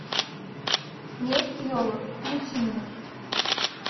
месть елок включи мне